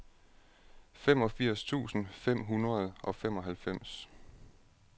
femogfirs tusind fem hundrede og femoghalvfems